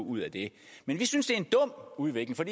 ud af det men vi synes det er en dum udvikling for